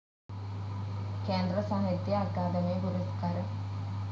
കേന്ദ്ര സാഹിത്യ അക്കാദമി പുരസ്കാരം